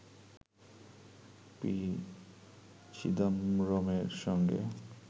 P চিদাম্বরমের সঙ্গে